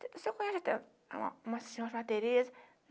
Você conhece uma uma senhora chamada Tereza?